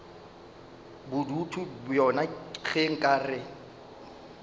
bodutu bjona ge nka re